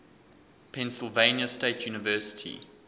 pennsylvania state university